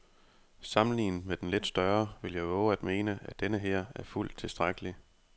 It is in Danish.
Sammenlignet med den lidt større vil jeg vove at mene, at denneher er fuldt tilstrækkelig.